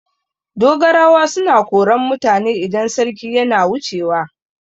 Dogarawa suna koran mutane idan sarki yana wucewa.